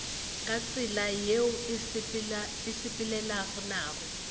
ka tsela yeo e sepelelanago